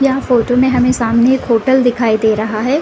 यहाँ फोटो में हमे सामने एक होटल दिखाई दे रहा है ।